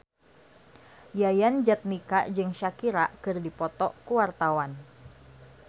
Yayan Jatnika jeung Shakira keur dipoto ku wartawan